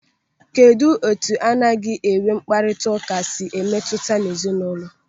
Kedụ etu anaghị enwe mkparịta ụka si emetụta ezinaụlọ?